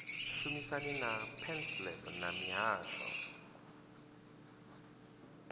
shumisana na pansalb na mihasho